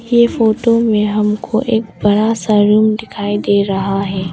ये फोटो मे हमको एक बड़ा सा रूम दिखाई दे रहा है।